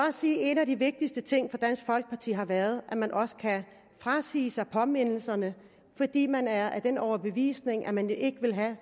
også sige at en af de vigtigste ting for dansk folkeparti har været det at man også kan frasige sig påmindelserne fordi man er af den overbevisning at man ikke vil have